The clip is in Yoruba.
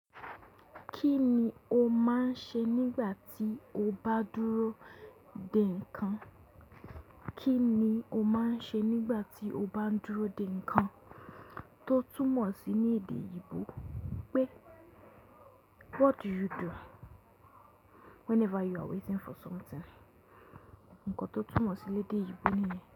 Kí ni o máa ń ṣe nígbà tí o bá dúró dè nǹkan? Kí ni o máa ń ṣe nígbà tí o bá dúró dè nǹkan? Tó túmọ̀ sí ní èdè eyinbò pé what do you do whenever you are waiting for something? Ǹkan tó túmọ̀ sílé èdè ìgbò nìyẹn.